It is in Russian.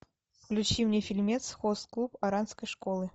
включи мне фильмец хост клуб оранской школы